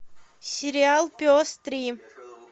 сериал пес три